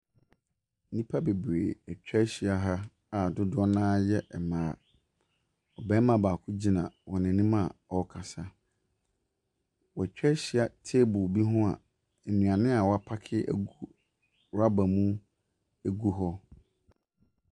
Nnipa atwa ahyia ha a dodoɔ no ara yɛ mmaa. Ɔbaama baako gyina wɔn anim a wɔrekasa. Watwa ahyia table biho a nnuane a wɔapaake agu rubber mu gu hɔ.